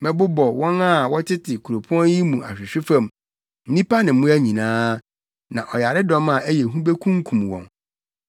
Mɛbobɔ wɔn a wɔtete kuropɔn yi mu ahwehwe fam; nnipa ne mmoa nyinaa, na ɔyaredɔm a ɛyɛ hu bekunkum wɔn.